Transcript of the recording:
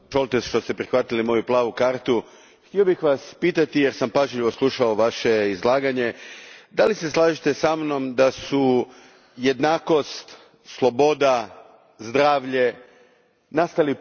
Htio bih Vas pitati jer sam pažljivo slušao Vaše izlaganje da li se slažete sa mnom da su jednakost, sloboda, zdravlje nastali prije nego supsidijarnost?